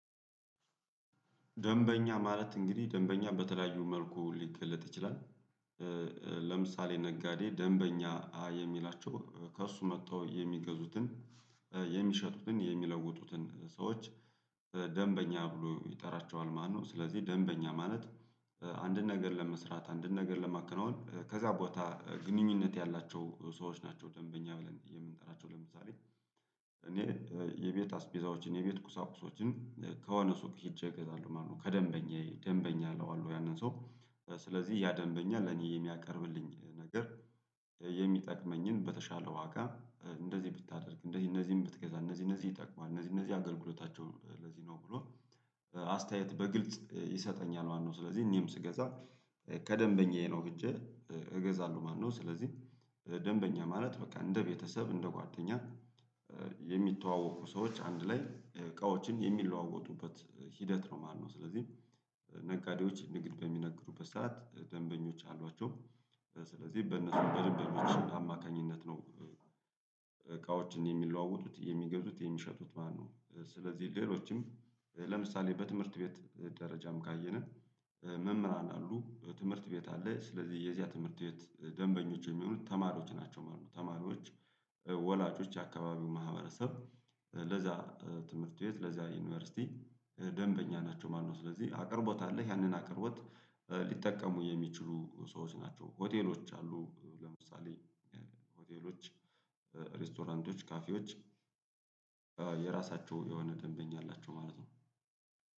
ደንበኛ ማለት እንግዲህ ደንበኛ በተለያዩ መልኩ ሊገለጥ ይችላል። ለምሳሌ ነጋዴ ደንበኛ የሚላቸው ከእርሱ መተው የሚገዙትን የሚሸጡትን የሚለውጡትን ሰዎች ደንበኛ ብሎ ይጠራቸዋል ማለት ነው። ስለዚህ ደንበኛ ማለት አንድን ነገር ለመስራት አንድን ነገር ለማከናወን ከዛ ቦታ ግንኙነት ያላቸው ሰዎች ናቸው። ደንበኛ ብለን የምንጠራቸው ለምሳሌ እኔ የቤት አስቤዛዎችን የቤት ቁሳቁሶችን ከሆነ ሱቅ ሄጄ እገዛለሁ ማለት ነው። ከደንበኛዬ ደንበኛ አለው አሉ ያንን ሰው ስለዚህ ያ ደንበኛ ለኔ የሚያቀርብልኝ ነገር የሚጠቅመኝን በተሻለ ዋጋ እንደዚህ ብታደርግ እንደዚህ እነዚህን ብትገዛ እነዚህ እነዚህ ይጠቅማል እነዚህ እነዚህ አገልግሎታቸው ለዚህ ነው ብሎ አስተያየት በግልጽ ይሰጠኛል ማለት ነው። ስለዚህ እኔም ስገዛ ከደንበኛዬ ነው ሄጄ እገዛለሁ። ማነው? ስለዚህ ደንበኛ ማለት በቃ እንደ ቤተሰብ እንደ ጓደኛ የሚተዋወቁ ሰዎች አንድ ላይ እቃዎችን የሚለዋወጡበት ሂደት ነው ማለት ነው። ስለዚህ ነጋዴዎች ንግድ በሚነግሩበት ሰዓት ደንበኞች አሏቸው ስለዚህ በነሱ በደንበኞች አማካኝነት ነው። እቃዎችን የሚለዋወጡት የሚገዙት የሚሸጡት ማለት ነው። ስለዚህ ሌሎችም ለምሳሌ በትምህርት ቤት ደረጃም ካየንን መምህራን አሉ ትምህርት ቤት አለ ስለዚህ የዚያ ትምህርት ቤት ደንበኞች የሚሆኑት ተማሪዎች ናቸው ማለት ነው። ተማሪዎች ወላጆች የአካባቢው ማህበረሰብ ለዛ ትምህርት ቤት ለዛ ዩኒቨርሲቲ ደንበኛ ናቸው ማለት ነው። ስለዚህ አቅርቦት አለ ያንን አቅርቦት ሊጠቀሙ የሚችሉ ሰዎች ናቸው። ሆቴሎች አሉ ለምሳሌ ሆቴሎች ሬስቶራንቶች ካፌዎች። የራሳቸው የሆነ ደንበኛ አላቸው ማለት ነው።